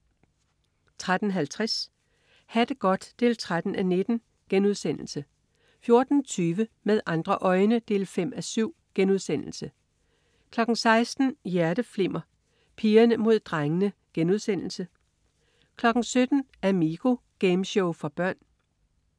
13.50 Ha' det godt 13:19* 14.20 Med andre øjne 5:7* 16.00 Hjerteflimmer: Pigerne mod drengene* 17.00 Amigo. Gameshow for børn